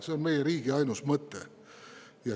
See on meie riigi ainus mõte.